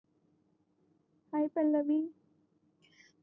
हाय Pallavi